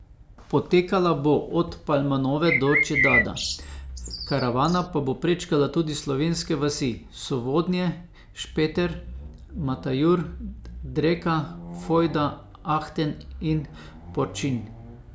Potekala bo od Palmanove do Čedada, karavana pa bo prečkala tudi slovenske vasi Sovodnje, Špeter, Matajur, Dreka, Fojda, Ahten in Porčinj.